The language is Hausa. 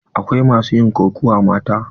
Akwai masu yin kokawa mata.